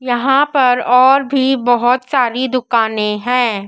यहां पर और भी बहोत सारी दुकाने हैं।